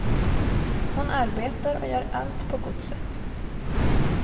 Hon arbetar och gör allt på godset.